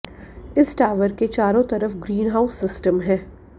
इस टावर के चारों तरफ ग्रीनहाउस सिस्टम है